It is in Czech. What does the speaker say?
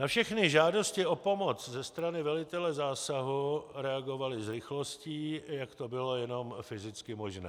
Na všechny žádosti o pomoc ze strany velitele zásahu reagovali s rychlostí, jak to bylo jenom fyzicky možné.